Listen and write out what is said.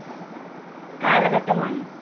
കാലഘട്ടമാണ്